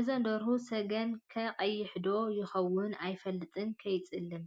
እዘን ደርሁ ስገኣን ከ ቀይሕ ዶ ይከውን ኣይፈለጥ ከይፅልም።